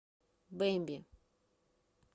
бэмби